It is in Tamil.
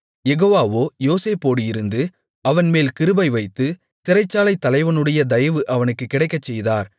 யெகோவாவோ யோசேப்போடு இருந்து அவன்மேல் கிருபைவைத்து சிறைச்சாலைத் தலைவனுடைய தயவு அவனுக்குக் கிடைக்கச்செய்தார்